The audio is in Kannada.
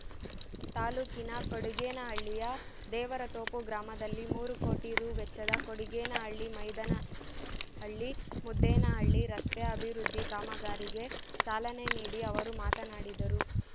ತಾಲ್ಲೂಕಿನ ಕೊಡಿಗೇನಹಳ್ಳಿಯ ದೇವರತೋಪು ಗ್ರಾಮದಲ್ಲಿ ಮೂರು ಕೋಟಿ ರೂ ವೆಚ್ಚದ ಕೊಡಿಗೇನಹಳ್ಳಿಮೈದನಹಳ್ಳಿಮುದ್ದೇನಹಳ್ಳಿ ರಸ್ತೆ ಅಭಿವೃದ್ಧಿ ಕಾಮಗಾರಿಗೆ ಚಾಲನೆ ನೀಡಿ ಅವರು ಮಾತನಾಡಿದರು